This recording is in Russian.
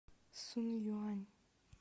сунъюань